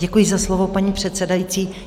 Děkuji za slovo, paní předsedající.